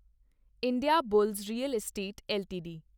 Indiabulls real estate LTD